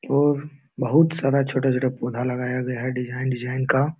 और बहुत सारा छोटा-छोटा पौधा लगाया गया है डिजाइन डिजाइन का।